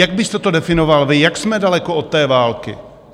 Jak byste to definoval vy, jak jsme daleko od té války?